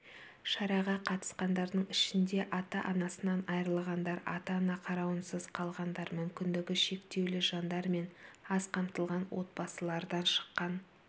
шараға қатысқандардың ішінде ата-анасынан айырылғандар ата-ана қарауынсыз қалғандар мүмкіндігі шектеулі жандар мен аз қамтылған отбасылардан шыққан